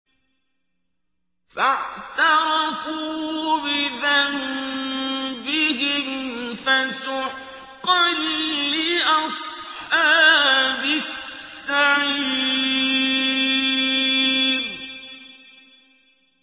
فَاعْتَرَفُوا بِذَنبِهِمْ فَسُحْقًا لِّأَصْحَابِ السَّعِيرِ